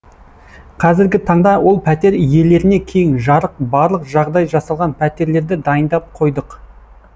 қазіргі таңда ол пәтер иелеріне кең жарық барлық жағдай жасалған пәтерлерді дайындап қойдық